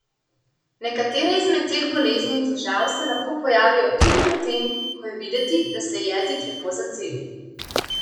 Nekatere izmed teh bolezni in težav se lahko pojavijo tudi po tem, ko je videti, da se je jezik lepo zacelil.